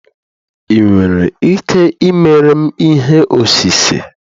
ị nwere ike ịmere m ihe osise?